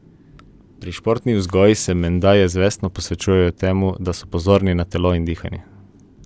Pri športni vzgoji se menda ja zavestno posvečajo temu, da so pozorni na telo in dihanje!